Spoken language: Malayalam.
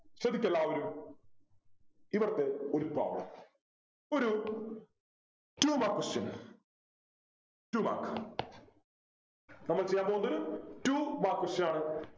ശ്രദ്ധിക്ക എല്ലാവരും ഇവിടെത്തെ ഒരു problem ഒരു two mark questions two marks നമ്മൾ ചെയ്യാൻ പോകുന്നത് two mark question ആണ്